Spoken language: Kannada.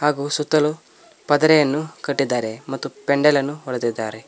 ಹಾಗು ಸುತ್ತಲು ಪದರೆಯನ್ನು ಕಟ್ಟಿದ್ದಾರೆ ಮತ್ತು ಪೆಂಡೆಲ ಅನ್ನು ಹೊಡದಿದಾರೆ.